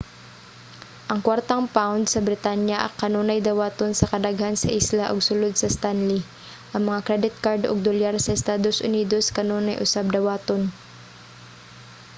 ang kuwartang pound sa britanya kanunay dawaton sa kadaghan sa isla ug sulod sa stanley ang mga credit card ug dolyar sa estados unidos kanunay usab dawaton